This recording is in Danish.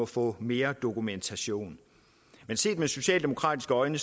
får mere dokumentation set med socialdemokratiske øjne